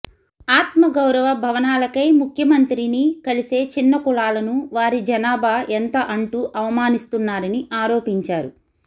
ఆత్మగౌరవ భవనా లకై ముఖ్యమంత్రిని కలిసే చిన్న కులాలను వారి జనాభా ఎంత అంటూ అవమానిస్తున్నారని ఆరోపిం చారు